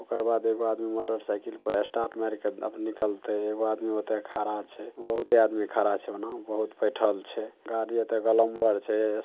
ओकर बाद एगो आदमी मोटरसाइकिल पर स्टार्ट मारके निकलते एगो आदमी ओता खड़ा छै। बहूते आदमी खड़ा छै ओना बहुत बैठल छै। गाड़ी ओता ग्लैमर छै ।